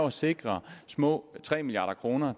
at sikre små tre milliard kroner